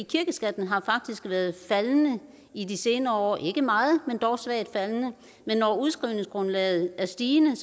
kirkeskatten har faktisk været faldende i de senere år ikke meget men dog svagt faldende men når udskrivningsgrundlaget er stigende